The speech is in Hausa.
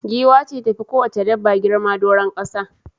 Giwa ce ta fi kowacce dabba girma doron kasa.